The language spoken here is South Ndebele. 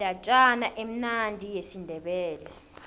indatjana emnandi yesindebele